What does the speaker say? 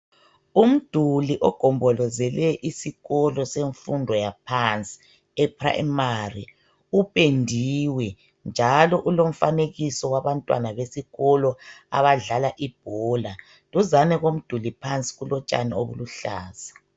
Umduli ogombolozele isikolo semfundo yaphansi ePrimary upendiwe njalo ulomfanekiso wabantwana besikolo abadlala ibhola. Duzane komduli phansi kulotshani obuluhlaza.